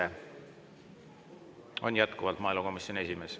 Ta on jätkuvalt maaelukomisjoni esimees.